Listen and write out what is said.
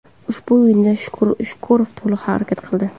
Ushbu o‘yinda Shukurov to‘liq harakat qildi.